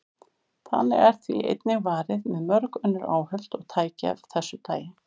Þannig er því einnig varið með mörg önnur áhöld og tæki af þessu tagi.